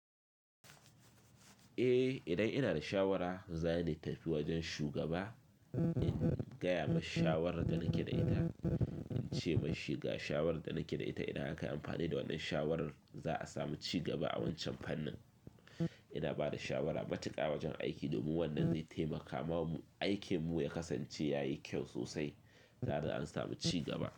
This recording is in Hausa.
Eh idan ina da shawara, zani tafi wajen shugaba in gaya masa shawarar da nake da ita. In ce mishi ga shawarar da nake da ita. Idan aka yi amfani da wannan shawarar, za a samu ci gaba a wancan fannin. Ina ba da shawara matuka wajen aiki domin wannan zai taimaka wa aikinmu ya kasance ya yi kyau sosai tare da an samu ci gaba.